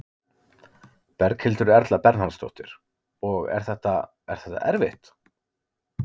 Berghildur Erla Bernharðsdóttir: Og er þetta, er þetta erfitt?